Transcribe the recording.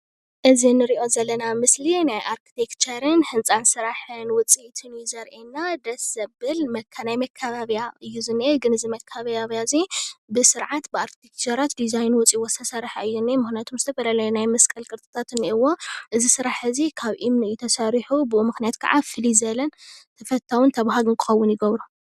እዚ ንሪኦ ዘለና ምስሊ ናይ አርክቴክቸርን ህንፃ ስራሕን ውፅኢት እዩ ዘሪኤና ደስ ዘበል ናይ መካበቢያ እዩ ዝኒሄ ግን እዚ መከባቢያ እዚ ብስርዓት ብአርክቴክቸራት ዲዛይን ወፅይዎ ዝተሰርሐ እዩ እንሄ፡፡ ምክንያቱ ዝተፈላለየ ናይ መስቀል ቅርፂ እኒህዎ እዚ ስራሕ እዚ ካብ እምኒ እዩ ተሰሪሑ፡፡ ብኡ ምክንያት ከዓ ፍልይ ዝበለ ተፈታውን ተባሃግን ክክውን ይገብሮ፡፡